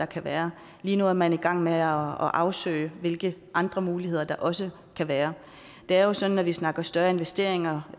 kan være lige nu er man i gang med at afsøge hvilke andre muligheder der også kan være det er jo sådan når vi snakker om større investeringer